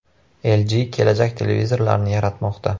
LG kelajak televizorlarini yaratmoqda.